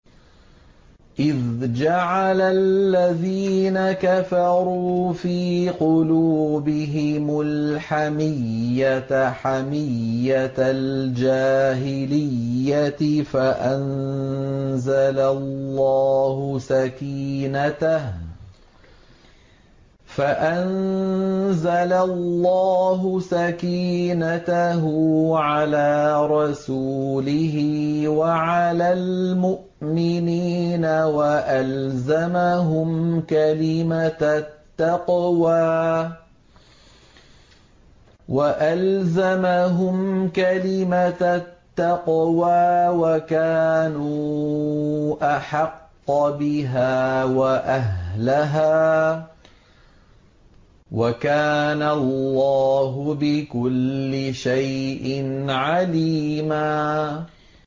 إِذْ جَعَلَ الَّذِينَ كَفَرُوا فِي قُلُوبِهِمُ الْحَمِيَّةَ حَمِيَّةَ الْجَاهِلِيَّةِ فَأَنزَلَ اللَّهُ سَكِينَتَهُ عَلَىٰ رَسُولِهِ وَعَلَى الْمُؤْمِنِينَ وَأَلْزَمَهُمْ كَلِمَةَ التَّقْوَىٰ وَكَانُوا أَحَقَّ بِهَا وَأَهْلَهَا ۚ وَكَانَ اللَّهُ بِكُلِّ شَيْءٍ عَلِيمًا